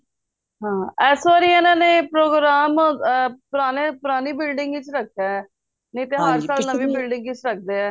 ਹੈ ਇਸ ਵਾਰੀ ਇਹਨਾਂ ਨੇ program ਪੁਰਾਣੇ ਪੁਰਾਣੀ building ਚ ਰੱਖਿਆ ਨਹੀਂ ਤੇ ਹਰ ਵਾਰ ਨਵੀਂ building ਚ ਰੱਖਦੇ ਏ